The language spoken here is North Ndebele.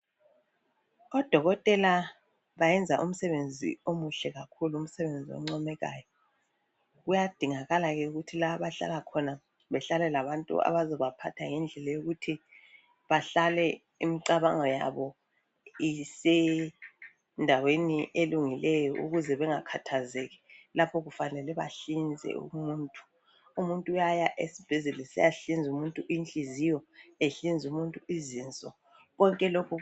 Odokotela bayenza umsebenzi omuhle kakhulu umsebenzi oncomekayo kuyadingakala ke ukuthi la abahlala khona bahlale labantu ababaphatha ngendlela yokuthi bahlale imicabango yabo isendaweni elungileyo ukuze bengakhathazeki lapho kufanele bahlize umuntu. Umuntu uyaya esibhedlela esiya hliza umuntu inhliziyo ehliza umuntu izinso konke lokhu